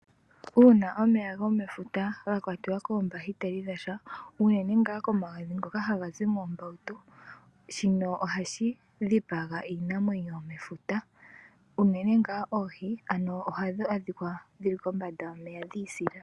Uuna omeya gomefuta gakwatiwa koombahiteli dhasha unene nga komagadhi ngoka haga zi mppmbawutu shino ohashi shipaga iinamwenyo yomefuta unene ngaa oohi ano ohadhi adhika dhili kombanda yomeya dhisila.